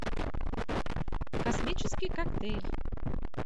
космический коктейль